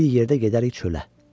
Bir yerdə gedərik çölə.